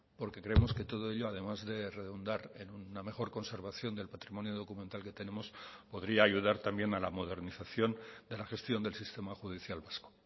porque creemos que todo ello además de redundar en una mejor conservación del patrimonio documental que tenemos podría ayudar también a la modernización de la gestión del sistema judicial vasco